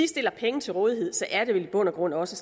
stiller penge til rådighed er det vel i bund og grund også